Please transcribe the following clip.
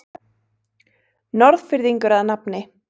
Norðfirðingur að nafni